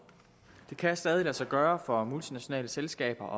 det kan stadig lade sig gøre for multinationale selskaber